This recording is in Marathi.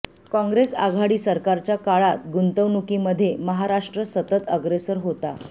काँग्रेस आघाडी सरकारच्या काळात गुंतवणुकीमध्ये महाराष्ट्र सतत अग्रेसर होता